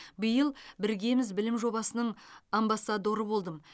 биыл біргеміз білім жобасының амбассадоры болдым